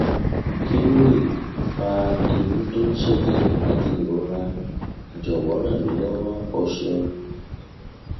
ki lo le fa imu to n seje ati irora jowo ran mi lowo o seun